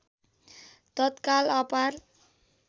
तत्काल अपार